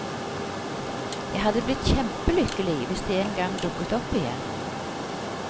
Jeg hadde blitt kjempe lykkelig hvis de en gang dukket opp igjen.